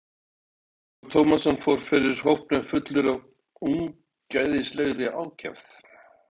Ólafur Tómasson fór fyrir hópnum fullur af ungæðislegri ákefð.